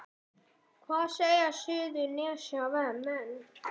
Hvað segja Suðurnesjamenn